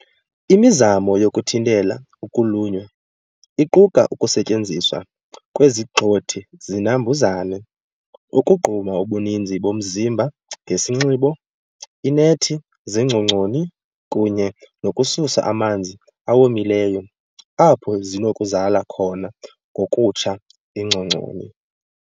Imizamo yokuthintela ukulunywa iquka ukusetyenziswa kwezigxothi-zinambuzane, ukugquma ubuninzi bomzimba ngesinxibo, iinethi zeengcongconi, kunye nokususa amanzi awomileyo apho zinokuzala khona ngokutsha iingcongconi.